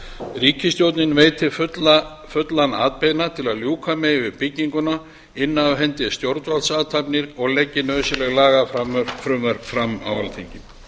ríkisstjórnin veiti fullan atbeina til að ljúka megi við bygginguna inni af hendi stjórnvaldsathafnir og leggi nauðsynleg lagafrumvörp fram á alþingi